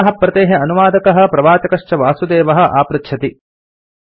अस्याः प्रतेः अनुवादकः प्रवाचकः च वासुदेवः आपृच्छति